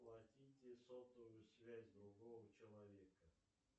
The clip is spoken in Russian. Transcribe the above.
оплатите сотовую связь другого человека